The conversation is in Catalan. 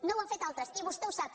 no ho han fet altres i vostè ho sap